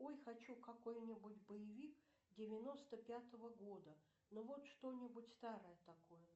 ой хочу какой нибудь боевик девяносто пятого года ну вот что нибудь старое такое